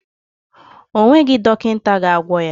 Ọ nweghị dọkịta ga-agwọ ya.